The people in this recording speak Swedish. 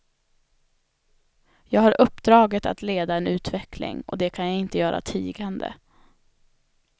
Jag har uppdraget att leda en utveckling, och det kan jag inte göra tigande.